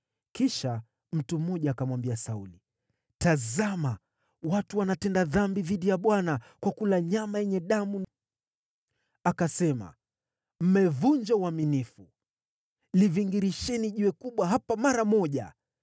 Kisha mtu mmoja akamwambia Sauli, “Tazama, watu wanatenda dhambi dhidi ya Bwana kwa kula nyama yenye damu.” Akasema, “Mmevunja uaminifu. Livingirisheni jiwe kubwa hapa mara moja.”